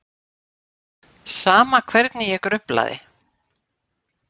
Sama hvernig ég gruflaði.